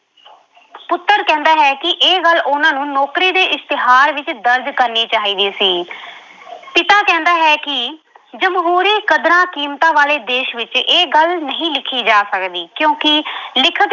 ਪੁੱਤਰ ਕਹਿੰਦਾ ਹੈ ਕਿ ਇਹ ਗੱਲ ਉਹਨਾਂ ਨੂੰ ਨੌਕਰੀ ਦੇ ਇਸ਼ਿਤਿਹਾਰ ਵਿੱਚ ਦਰਜ ਕਰਨੀ ਚਾਹੀਦੀ ਸੀ ਪਿਤਾ ਕਹਿੰਦਾ ਹੈ ਕਿ ਜਮਹੂਰੀ ਕਦਰਾਂ-ਕੀਮਤਾਂ ਵਾਲੇ ਦੇਸ਼ ਵਿੱਚ ਇਹ ਗੱਲ ਨਹੀਂ ਲਿਖੀ ਜਾ ਸਕਦੀ ਕਿਉਂਕਿ ਲਿਖਤ